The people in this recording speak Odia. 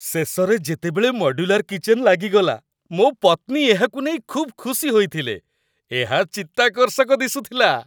ଶେଷରେ ଯେତେବେଳେ ମଡ୍ୟୁଲାର୍ କିଚେନ୍ ଲାଗିଗଲା, ମୋ ପତ୍ନୀ ଏହାକୁ ନେଇ ଖୁବ୍ ଖୁସି ହୋଇଥିଲେ ଏହା ଚିତ୍ତାକର୍ଷକ ଦିଶୁଥିଲା!